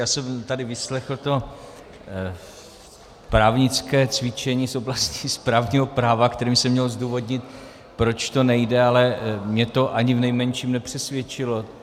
Já jsem tady vyslechl to právnické cvičení z oblasti správního práva, kterým se mělo zdůvodnit, proč to nejde, ale mně to ani v nejmenším nepřesvědčilo.